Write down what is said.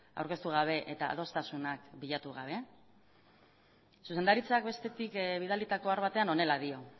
aurkeztu gabe eta adostasunak bilatu gabe zuzendaritzak bestetik bidalitako ohar batean honela dio